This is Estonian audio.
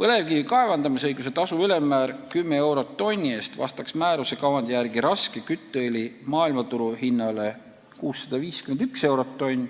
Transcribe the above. Põlevkivi kaevandamisõiguse tasu ülemmäär 10 eurot tonni eest vastaks määruse kavandi järgi raske kütteõli maailmaturu hinnale 651 eurot tonn